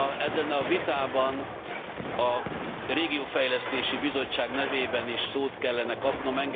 Ebben a vitában, a Regionális Fejlesztési Bizottság nevében is szót kellene kapnom.